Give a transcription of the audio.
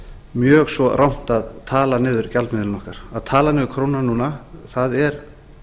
mjög svo rangt að tala niður gjaldmiðilinn okkar að tala niður krónuna núna er